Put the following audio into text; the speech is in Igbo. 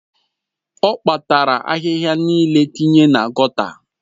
Ọ kpatara ahịhịa niile tinye na gọta